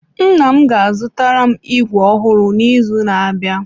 Nna m ga-azụtara m ígwè ọhụrụ n’izu na-abịa.